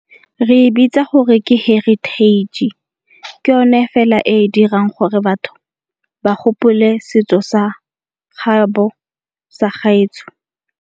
Re e bitsa gore ke heritage, ke yone fela e e dirang gore batho ba gopole setso sa gaetsho.